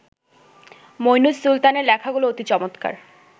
মইনুস সুলতানের লেখাগুলো অতি চমৎকার